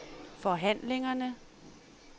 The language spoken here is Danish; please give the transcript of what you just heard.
forhandlingerne